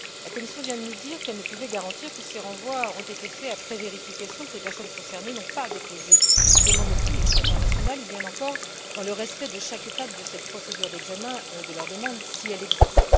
La Commission vient de nous dire qu'elle ne pouvait garantir que ces renvois ont été faits après vérification que les personnes concernées n'avaient pas déposé de demande de protection internationale, ou bien encore dans le respect de chaque étape de cette procédure d'examen de leur demande, si elle existe.